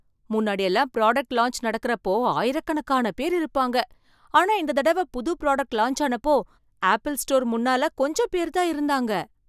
முன்னாடியெல்லாம் product launch நடக்கிறப்போ ஆயிரக்கணக்கான பேர் இருப்பாங்க, ஆனால் இந்த தடவை புது புராடக்ட் லான்ச் அப்போ ஆப்பிள் ஸ்டோர் முன்னால கொஞ்சம் பேர் தான் இருந்தாங்க.